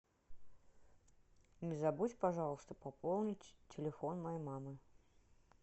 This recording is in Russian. не забудь пожалуйста пополнить телефон моей мамы